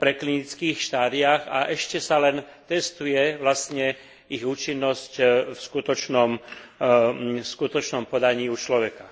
predklinických štádiách, a ešte sa len testuje vlastne ich účinnosť v skutočnom podaní u človeka.